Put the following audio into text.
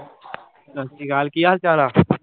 ਸਾਸਰੀਕਾਲ ਕੀ ਹਾਲ ਚਾਲ ਆ